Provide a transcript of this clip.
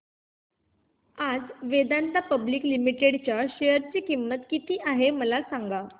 आज Vedanta public limited च्या share ची किंमत किती आहे मला सांगा